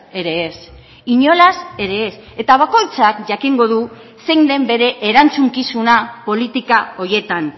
ere ez inolaz ere ez eta bakoitzak jakingo du zein den bere erantzukizuna politika horietan